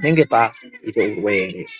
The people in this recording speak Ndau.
senge pazvirwere.